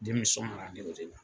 Denmisɔnw la